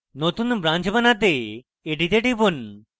নতুন branch বানাতে এটিতে টিপুন